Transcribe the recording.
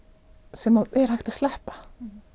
sem hægt er að sleppa